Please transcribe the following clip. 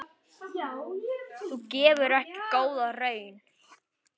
Það gefur ekki góða raun.